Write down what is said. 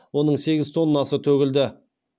оның сегіз тоннасы төгілді